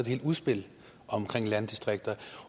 helt udspil omkring landdistrikterne